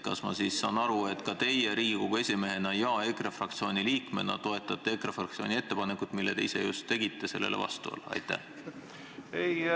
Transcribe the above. Kas ma saan õigesti aru, et teie Riigikogu esimehena ja EKRE fraktsiooni liikmena toetate EKRE fraktsiooni ettepanekut olla vastu ettepanekule, mille te just ise tegite?